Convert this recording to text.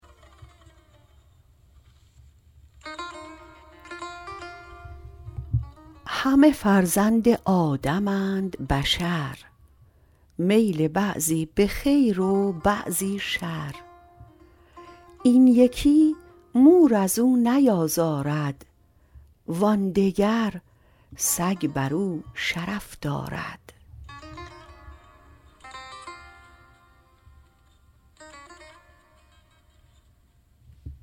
همه فرزند آدمند بشر میل بعضی به خیر و بعضی شر این یکی مور ازو نیازارد وان دگر سگ برو شرف دارد